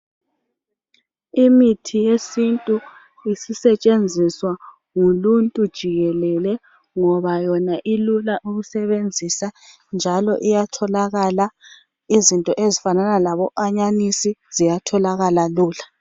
Imithi yesintu isisetshenziswa nguluntu jikelele ngoba yona ilula ukusebenzisa njalo iyatholakala izinto ezifana labo anyanisi ziyatholakala lula.